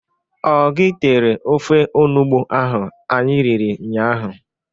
Ọ gị tere ofe onugbo ahụ anyị riri nnya ahụ?